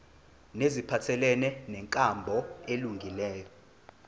neziphathelene nenkambo elungileyo